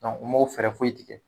u m'o fɛɛrɛ foyi tigɛ